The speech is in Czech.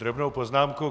Drobnou poznámku.